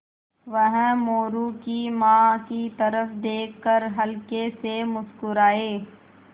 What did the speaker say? वह मोरू की माँ की तरफ़ देख कर हल्के से मुस्कराये